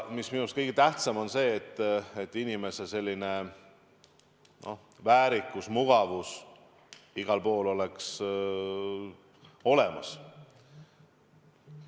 Minu meelest on kõige tähtsam see, et inimese väärikus ja mugavus oleks igal pool olemas.